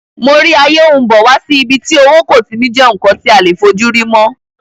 Mo rí ayé n bọ̀ wá sí ibi tí owó kò ti ní jẹ́ ǹkan tí a lè fojúrí mọ́